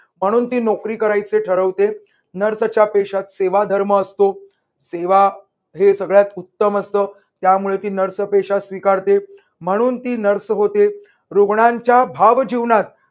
म्हणून ती नोकरी करायचे ठरवते nurse च्या पेशात सेवा धर्म असतो. सेवा हे सगळ्यात उत्तम असतं. त्यामुळे ती nurse चा पेशा स्वीकारते. म्हणून ती nurse होते. रुग्णाच्या भावजीवनात